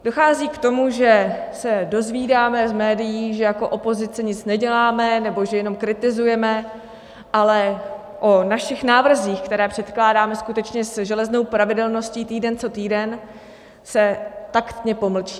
Dochází k tomu, že se dozvídáme z médií, že jako opozice nic neděláme nebo že jenom kritizujeme, ale o našich návrzích, které předkládáme skutečně se železnou pravidelností týden co týden, se taktně pomlčí.